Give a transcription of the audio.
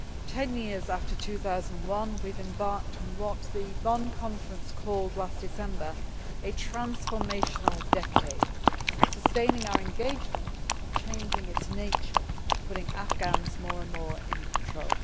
Ten years after 2001, we have embarked on what the Bonn Conference called last December a transformational decade', sustaining our engagement but changing its nature, and putting Afghans more and more in control.